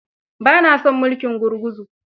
Ba na son mulkin gurguzu.